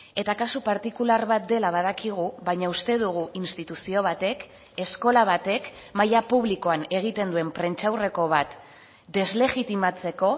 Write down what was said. eta kasu partikular bat dela badakigu baina uste dugu instituzio batek eskola batek maila publikoan egiten duen prentsaurreko bat deslegitimatzeko